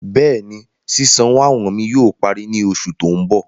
Bẹ́ẹ̀ni, ṣísanwọ́ àwọn mi yóò pàrí ní oṣù tó n bọ̀.